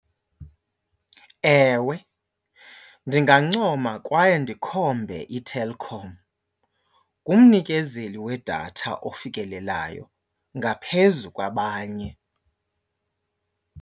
Ewe, ndingancoma kwaye ndikhombe iTelkom. Ngumnikezeli wedatha ofikelelayo ngaphezu kwabanye.